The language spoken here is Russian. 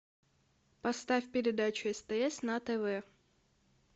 поставь передачу стс на тв